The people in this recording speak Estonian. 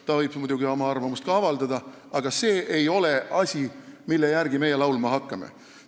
Ta võib muidugi oma arvamust avaldada, aga see ei ole asi, mille järgi meie laulma hakkame.